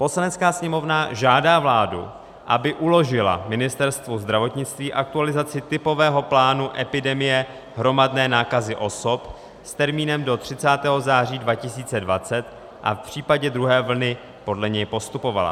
Poslanecká sněmovna žádá vládu, aby uložila Ministerstvu zdravotnictví aktualizaci typového plánu epidemie hromadné nákazy osob s termínem do 30. září 2020 a v případě druhé vlny podle něj postupovala.